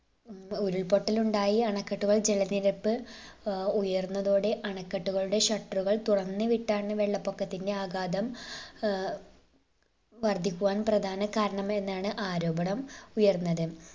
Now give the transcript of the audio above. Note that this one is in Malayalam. ഏർ ഉരുൾപൊട്ടൽ ഉണ്ടായി അണക്കെട്ടുകൾ ജലനിരപ്പ് ഏർ ഉയർന്നതോടെ അണക്കെട്ടുകളുടെ shutter ഉകൾ തുറന്ന് വിട്ടാണ് വെള്ളപൊക്കത്തിന്റെ ആഘാതം ഏർ വർധിക്കുവാൻ പ്രധാന കാരണം എന്നാണ് ആരോപണം ഉയർന്നത്